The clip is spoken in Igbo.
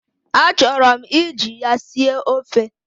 Achọrọ m iji ya sie ofe.